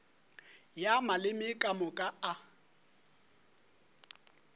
ya maleme ka moka a